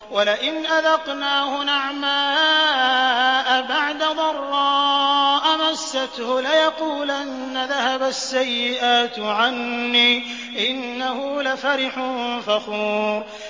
وَلَئِنْ أَذَقْنَاهُ نَعْمَاءَ بَعْدَ ضَرَّاءَ مَسَّتْهُ لَيَقُولَنَّ ذَهَبَ السَّيِّئَاتُ عَنِّي ۚ إِنَّهُ لَفَرِحٌ فَخُورٌ